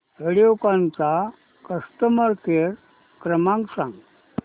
व्हिडिओकॉन चा customer care क्रमांक सांगा